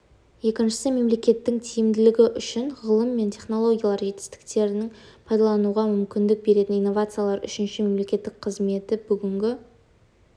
екіншісі мемлекеттің тиімділігі үшін ғылым мен технологиялар жетістіктерін пайдалануға мүмкіндік беретін инновациялар үшіншісі мемлекеттік қызметті бүгінгі